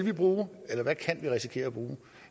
bruge eller hvad vi kan risikere